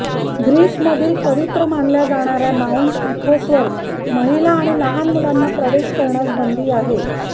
ग्रीसमधील पवित्र मानल्या जाणार्या माऊंट इथोसवर महिला आणि लहान मुलांना प्रवेश करण्यास बंदी आहे